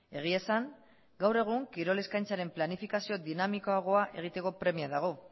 egia esan gaur egun kirol eskaintzaren planifikazio dinamikoagoa egiteko premia dago